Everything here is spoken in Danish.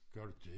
gør du det?